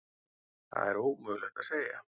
Það er ómögulegt að segja.